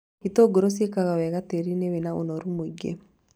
Itũngũrũ ciĩkaga wega tĩĩri-inĩ wĩna ũnoru mũingĩ